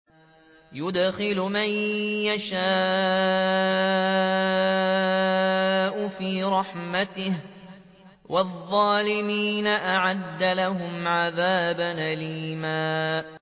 يُدْخِلُ مَن يَشَاءُ فِي رَحْمَتِهِ ۚ وَالظَّالِمِينَ أَعَدَّ لَهُمْ عَذَابًا أَلِيمًا